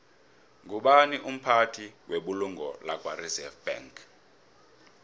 ngubani umphathi webulungo lakwareserve bank